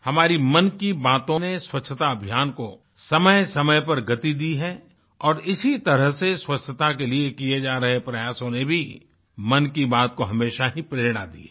हमारी मन की बातों ने स्वच्छता अभियान को समय समय पर गति दी है और इसी तरह से स्वच्छता के लिए किए जा रहे प्रयासों ने भी मन की बात को हमेशा ही प्रेरणा दी है